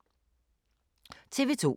TV 2